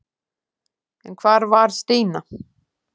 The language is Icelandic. En hvar var Stína?